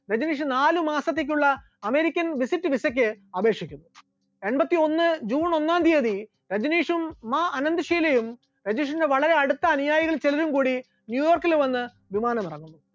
രജനീഷ് നാല് മാസത്തേക്കുള്ള American visit visa ക്ക് അപേക്ഷിക്കുന്നത്, എൺപത്തിയൊന്ന് june ഒന്നാം തിയ്യതി രജനീഷും മാ അനാഥ്‌ ഷീലയും രജനീഷിന്റെ വളരെ അടുത്ത അനുയായികളിൽ ചിലരും കൂടി ന്യൂയോർക്കിൽ വന്ന് വിമാനമിറങ്ങുന്നു.